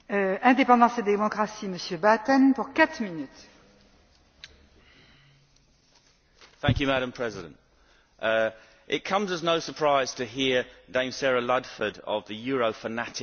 Madam President, it comes as no surprise to hear Baroness Ludford of the Euro fanatic Liberal Democrat party wanting to harmonise yet another area of what should be sovereign national policy.